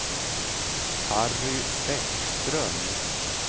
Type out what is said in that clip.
Harry Bäckström